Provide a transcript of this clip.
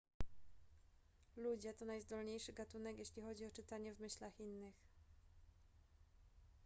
ludzie to najzdolniejszy gatunek jeśli chodzi o czytanie w myślach innych